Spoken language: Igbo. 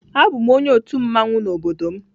A bụ m onye otu mmanwụ na obodo m